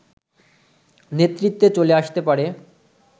নেতৃত্বে চলে আসতে পারে